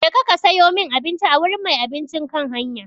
Ka je ka sayo min abinci a wurin mai abincin kan hanya!